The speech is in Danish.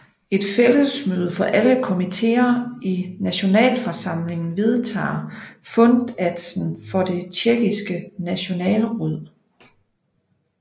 Et fællesmøde for alle komitéer i Nationalforsamlingen vedtager fundatsen for det Tjekkiske Nationalråd